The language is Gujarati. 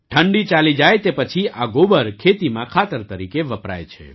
ઠંડી ચાલી જાય તે પછી આ ગોબર ખેતીમાં ખાતર તરીકે વપરાય છે